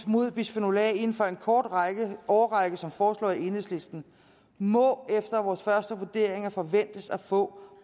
mod bisfenol a inden for en kort årrække årrække som foreslået af enhedslisten må efter vores første vurderinger forventes at få